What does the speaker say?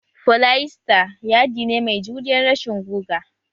Foliester yaɗi ne mai juriyan rashin guga